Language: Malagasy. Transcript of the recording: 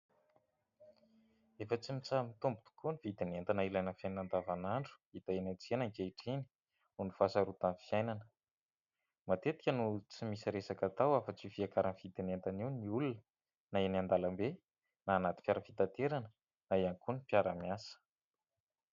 Efa tsy mitsaha-mitombo tokoa ny vidin'entana ilaina amin'ny fiainana andavanandro hita eny an-tsena ankehitriny noho ny fahasarotan'ny fiainana. Matetika no tsy misy resaka atao afa-tsy io fiakaran'ny vidin'entana io ny olona na eny an-dalambe na anaty fiara fitaterana na ihany koa ny mpiara-miasa.